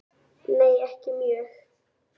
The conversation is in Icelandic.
Nei ekki mjög.